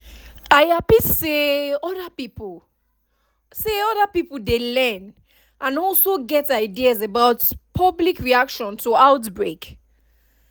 i hapi say other pipo say other pipo dey learn and also get ideas about public reaction to outbreak